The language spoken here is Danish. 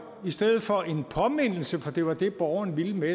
i stedet for en påmindelse for det var det borgeren ville med